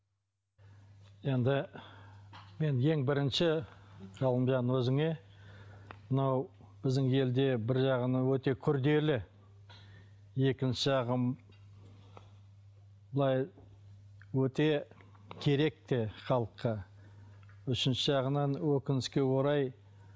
енді мен ең бірінші ғалымжан өзіңе мынау біздің елде бір жағынан өте күрделі екінші жағы былай өте керек те халыққа үшінші жағынан өкінішке орай